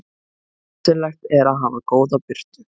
Nauðsynlegt er að hafa góða birtu.